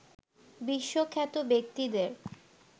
বিশ্বখ্যাত ব্যক্তিদের